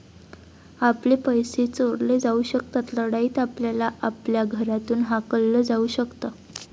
आपले पैसे चोरले जाऊ शकतात. लढाईत आपल्याला आपल्या घरातून हाकललं जाऊ शकतं.